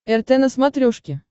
рт на смотрешке